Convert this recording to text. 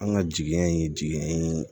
An ka jigiɲɛ ye jiginɛ ye